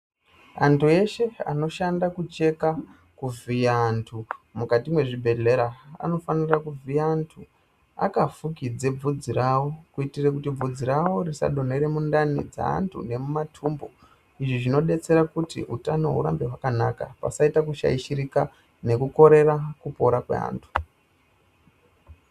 Antu eshe anoshanda kucheka kuvhiya antu mukati mwezvibhehlera, anofanire kuvhiye antu akafukidze bvudzi rawo kuitire kuti bvudzi rawo risadonhera mundani dzeantu nemumatumbu. Izvi zvinodetsera kuti utano hurambe hwakanaka pasaita kushaishirika nekukorera kupora kweantu.